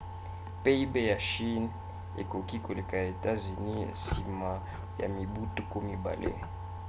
pib ya chine ekoki koleka ya états-unis nsima ya mibu tuku mibale